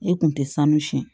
E kun tɛ sanu siyɛn